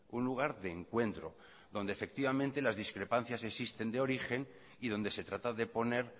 un lugar de encuentro donde efectivamente las discrepancias existen de origen y donde se trata de poner